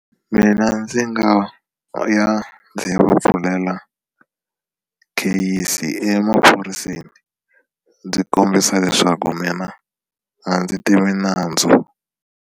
Mina ndzi nga ya ndzi ya pfulela kheyisi emaphoriseni ndzi kombisa leswaku mina a ndzi tivi nandzu.